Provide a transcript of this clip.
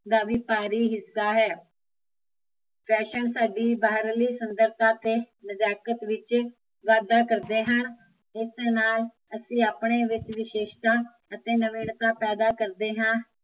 ਦਾ ਵੀ ਭਾਰੀ ਹਿੱਸਾ ਹੈ ਫੈਸ਼ਨ ਸਾਡੀ ਬਾਹਰਲੀ ਸੁੰਦਰਤਾ ਅਤੇ ਨਜ਼ਾਕਤ ਵਿੱਚ, ਵਾਧਾ ਕਰਦੇ ਹਨ ਇਸ ਨਾਲ਼ ਅਸੀਂ ਆਪਣੇ ਵਿੱਚ ਵਿਸ਼ੇਸ਼ਤਾ ਅਤੇ ਨਵੀਨਤਾ ਪੈਦਾ ਕਰਦੇ ਹਾਂ